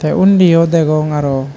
te unni yo degong arow.